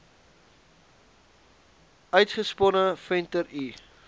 uitgesponne venter l